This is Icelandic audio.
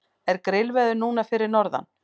er grillveður núna fyrir norðan